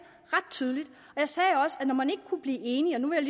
ret tydeligt og jeg sagde også at når man ikke kunne blive enige og nu vil